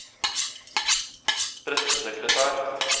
pressesekretær